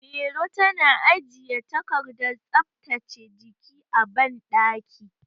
Mairo tana ajiye takardar tsaftace jiki a banɗaki.